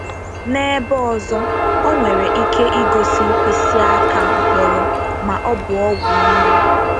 N’ebe ọzọ, ọ nwere ike igosi mkpịsị aka mkpọrọ ma ọ bụ ọgwụ nri.